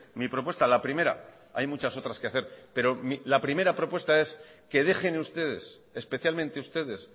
mi propuesta la primera hay muchas otras que hacer pero la primera propuesta es que dejen ustedes especialmente ustedes